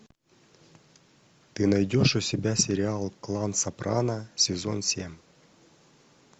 ты найдешь у себя сериал клан сопрано сезон семь